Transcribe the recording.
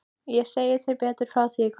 Ég segi þér betur frá því í kvöld.